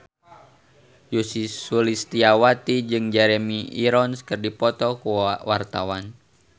Ussy Sulistyawati jeung Jeremy Irons keur dipoto ku wartawan